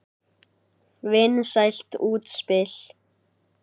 Vinsælt útspil.